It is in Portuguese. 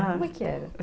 Como é que era?